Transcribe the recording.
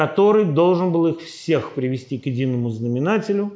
который должен был их всех привести к единому знаменателю